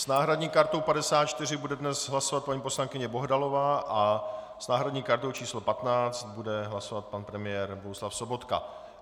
S náhradní kartou 54 bude dnes hlasovat paní poslankyně Bohdalová a s náhradní kartou číslo 15 bude hlasovat pan premiér Bohuslav Sobotka.